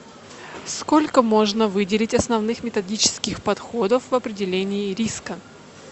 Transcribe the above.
сколько можно выделить основных методических подходов в определении риска